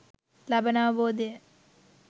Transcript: ලබන අවබෝධය